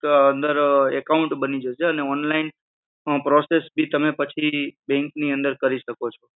અંદર account બની જશે અને online process ભી તમે પછી bank ની અંદર તમે કરી શકો છો.